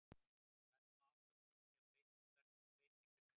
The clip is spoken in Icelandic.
Við verðum að átta okkur á því að breyting er nauðsynleg.